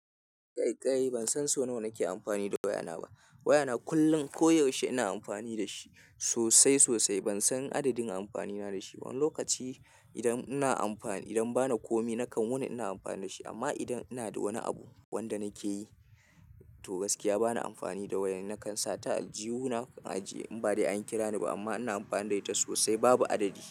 Kai kai ban san so nawa nake amfani da wayana ba. Wayana kullum koyaushe ina amfani da shi sosai sosai. Ban san adadin amfanina da shi ba. Wani lokaci idan ina amfani, idan ba na komai nakan wani ina amfani da shi amma idan ina da wani abu wanda nake yi to gaskiya bana amfani da waya. Nakan sa ta a aljihuna, nakan ajiye in ba dai an kira ni ba amma ina amfana da ita sosai babu adadi.